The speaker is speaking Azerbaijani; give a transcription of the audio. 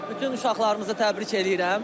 Bütün uşaqlarımızı təbrik eləyirəm.